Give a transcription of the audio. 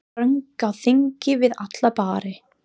Þröng á þingi við alla bari.